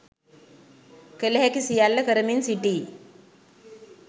කල හැකි සියල්ල කරමින් සිටී